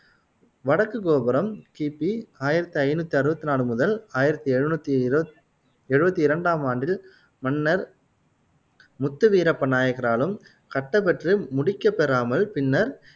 வடக்கு கோபுரம் கிபி ஆயிரத்தி ஐநூத்தி அறுவத்தி நாலு முதல் ஆயிரத்தி எழுநூத்தி இரு எழுவத்தி இரண்டாம் ஆண்டில் மன்னர் முத்துவீரப்ப நாயக்கராலும் கட்டப்பெற்று முடிக்கப்பெறாமல் பின்னர்